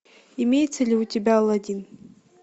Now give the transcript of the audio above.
имеется ли у тебя алладин